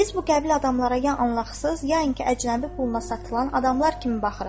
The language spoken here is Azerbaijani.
Biz bu qəbil adamlara ya Allahsız, ya inki əcnəbi puluna satılan adamlar kimi baxırıq.